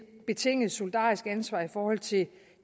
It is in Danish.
betinget solidarisk ansvar i forhold til